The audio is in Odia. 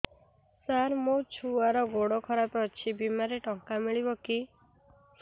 ସାର ମୋର ଛୁଆର ଗୋଡ ଖରାପ ଅଛି ବିମାରେ ଟଙ୍କା ମିଳିବ କି